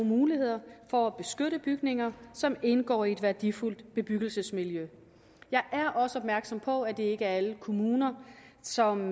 muligheder for at beskytte bygninger som indgår i et værdifuldt bebyggelsesmiljø jeg er også opmærksom på at det ikke er alle kommuner som